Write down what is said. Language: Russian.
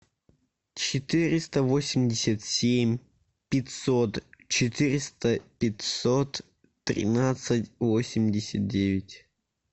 четыреста восемьдесят семь пятьсот четыреста пятьсот тринадцать восемьдесят девять